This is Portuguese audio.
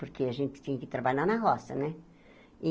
Porque a gente tinha que trabalhar na roça, né?